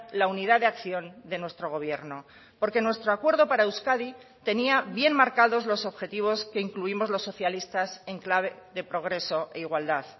la unidad de acción de nuestro gobierno porque nuestro acuerdo para euskadi tenía bien marcados los objetivos que incluimos los socialistas en clave de progreso e igualdad